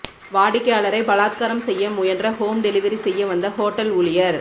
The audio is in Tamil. வாடிக்கையாளரை பலாத்காரம் செய்ய முயன்ற ஹோம் டெலிவரி செய்ய வந்த ஹோட்டல் ஊழியர்